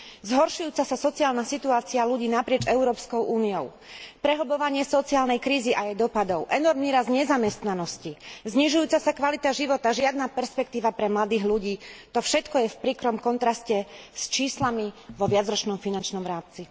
Zhoršujúca sa sociálna situácia ľudí naprieč Európskou úniou, prehlbovanie sociálnej krízy a jej vplyvov, enormný rast nezamestnanosti, znižujúca sa kvalita života, žiadna perspektíva pre mladých ľudí, to všetko je v príkrom kontraste s číslami vo viacročnom finančnom rámci.